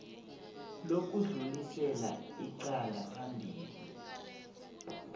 lokudlulisela icala phambili